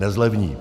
Nezlevní.